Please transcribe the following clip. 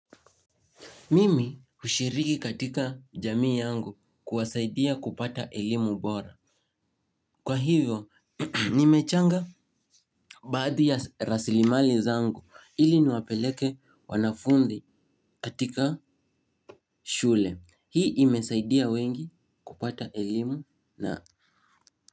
Mimi hushiriki katika jamii yangu kuwasaidia kupata elimu bora. Kwa hivyo, nimechanga baadhi ya rasilimali zangu ili niwapeleke wanafunzi katika shule. Hii imesaidia wengi kupata ilimu na.